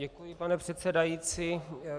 Děkuji, pane předsedající.